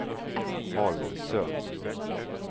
Holmsund